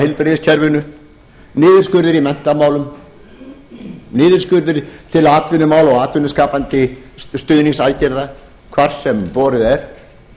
heilbrigðiskerfinu niðurskurður í menntamálum niðurskurður til atvinnumála og atvinnuskapandi stuðningsaðgerða hvar sem borið er